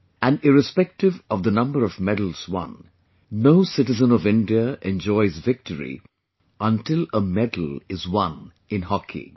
And irrespective of the number of medals won, no citizen of India enjoys victory until a medal is won in hockey